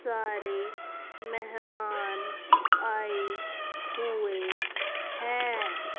सारे मेहमान आए हुए है।